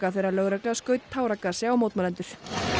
þegar lögregla skaut táragasi á mótmælendur